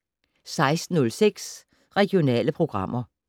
16:06: Regionale programmer